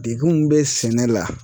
Degun min bɛ sɛnɛ la